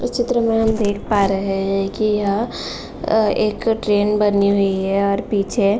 इस चित्र में हम देख पा रहे हैं कि यह अ एक ट्रेन बनी हुई है और पीछे --